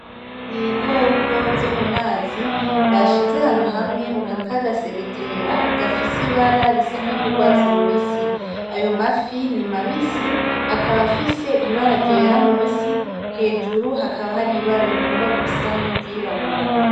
Ibikoko vyo mumazi, bashize ahantu hamwe mukantu k'agasegetera gafise ibara risa nkiry'urwatsi rubisi. Ayo mafi ni mabisi, akaba afise ibara ryera munsi hejuru hakaba har'ibara rigomba gusa n'iryirabura.